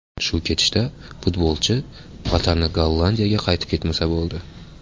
Shu ketishda futbolchi vatani Gollandiyaga qaytib ketmasa bo‘ldi.